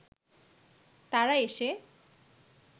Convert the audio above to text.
তারা এসে